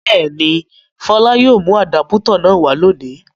Bẹ́ẹ̀ ni, Fọlá yóò mú àdápútọ̀ náà wá lónìí.